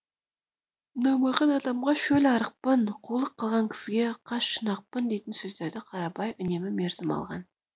ұнамаған адамға шөл арықпын қулық қылған кісіге қас шұнақпын дейтін сөздерді қарабай үнемі мерзім алған